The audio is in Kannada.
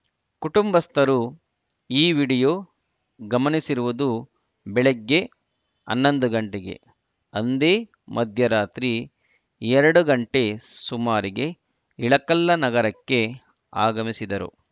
ಕುಟುಂಬಸ್ಥರು ಈ ವಿಡಿಯೋ ಗಮನಿಸಿರುವುದು ಬೆಳಗ್ಗೆ ಹನ್ನೊಂದು ಗಂಟೆಗೆ ಅಂದೇ ಮಧ್ಯರಾತ್ರಿ ಎರಡು ಗಂಟೆ ಸುಮಾರಿಗೆ ಇಳಕಲ್ಲ ನಗರಕ್ಕೆ ಆಗಮಿಸಿದರು